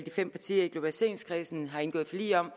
fem partier i globaliseringskredsen har indgået forlig om